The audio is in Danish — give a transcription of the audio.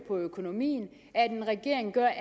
på økonomien at regeringen gør